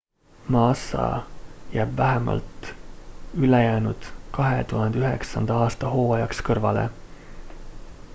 massa jääb vähemalt ülejäänud 2009 aasta hooajaks kõrvale